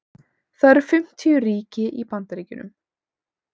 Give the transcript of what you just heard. það eru fimmtíu ríki í bandaríkjunum